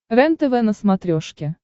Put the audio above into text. рентв на смотрешке